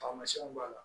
Tamasiyɛnw b'a la